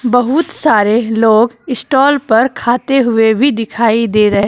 बहुत सारे लोग स्टॉल पर खाते हुए भी दिखाई दे रहे--